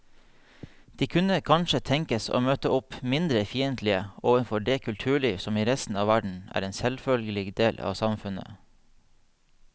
De kunne kanskje tenkes å møte opp mindre fiendtlige overfor det kulturliv som i resten av verden er en selvfølgelig del av samfunnet.